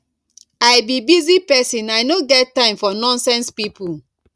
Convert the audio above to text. i be busy person i no get time for nonsense people